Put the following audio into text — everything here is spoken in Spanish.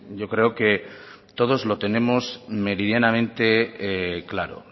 yo creo que todos lo tenemos meridianamente claro